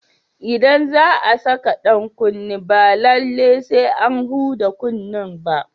Idan za a saka dan kunne ba lallai sai an huda kunnen ba.